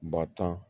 Batan